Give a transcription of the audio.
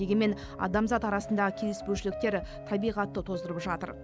дегенмен адамзат арасындағы келіспеушіліктер табиғатты тоздырып жатыр